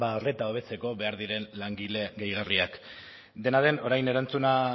ba arreta hobetzeko behar diren langile gehigarriak dena den orain